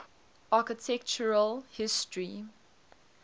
architectural history